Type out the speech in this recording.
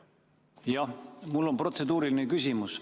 Jah, mul on protseduuriline küsimus.